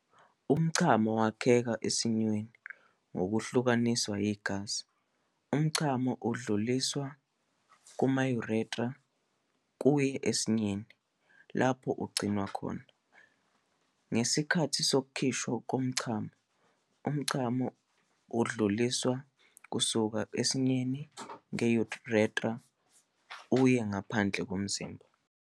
Umchamo wakheka ezinzweni ngokuhlunga igazi. Umchamo udluliselwa kuma-ureter kuya esinye, lapho ugcinwa khona. Ngesikhathi sokukhishwa komchamo, umchamo udluliswa usuka esinye nge-urethra uye ngaphandle komzimba.